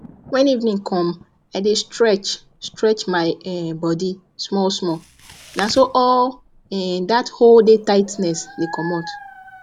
when evening come i dey stretchstretch my um body smallsmall na so all um dat whole day tightness the commot